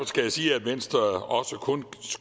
skal jeg sige at venstre også kun